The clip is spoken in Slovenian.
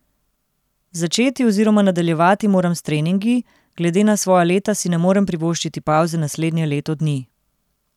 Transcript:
Začeti oziroma nadaljevati moram s treningi, glede na svoja leta si ne morem privoščiti pavze naslednje leto dni.